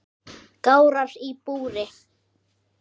Gárar í búri